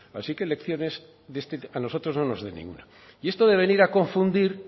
así que lecciones a nosotros no nos dé ninguna esto de venir a confundir